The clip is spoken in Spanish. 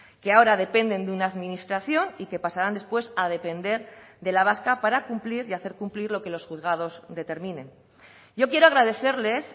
que ahora dependen de una administración y que pasarán después a depender de la vasca para cumplir y hacer cumplir lo que los juzgados determinen yo quiero agradecerles